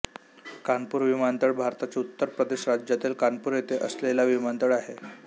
कानपूर विमानतळ भारताच्या उत्तर प्रदेश राज्यातील कानपूर येथे असलेला विमानतळ आहे